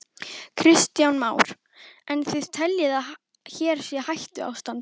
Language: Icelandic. Kristján Már: En þið teljið að hér sé hættuástand?